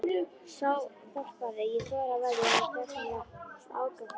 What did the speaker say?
Sá þorpari: ég þori að veðja að honum vegnar ágætlega.